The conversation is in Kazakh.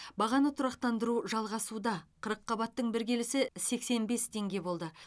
бағаны тұрақтандыру жалғасуда қырыққабаттың бір келісі сексен бес теңге болды